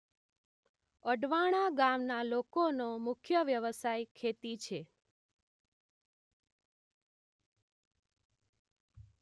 અડવાણા ગામના લોકોનો મુખ્ય વ્યવસાય ખેતી છે